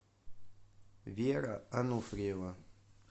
вера ануфриева